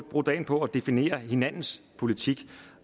bruge dagen på at definere hinandens politik